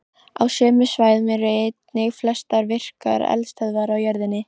Á sömu svæðum eru einnig flestar virkar eldstöðvar á jörðinni.